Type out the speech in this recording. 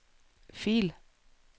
fil